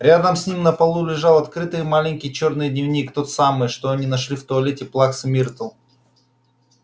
рядом с ним на полу лежал открытый маленький чёрный дневник тот самый что они нашли в туалете плаксы миртл